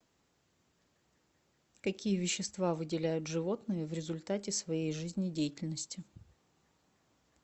какие вещества выделяют животные в результате своей жизнедеятельности